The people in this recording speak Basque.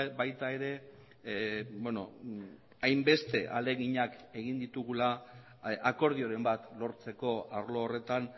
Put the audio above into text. baita ere hainbeste ahaleginak egin ditugula akordioren bat lortzeko arlo horretan